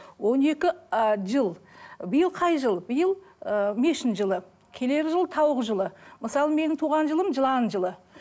он екі ы жыл биыл қай жыл биыл ыыы мешін жылы келер жыл тауық жылы мысалы менің туған жылым жылан жылы